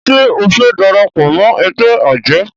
ṣe o fè darapọ̀ mọ ègbé ajé?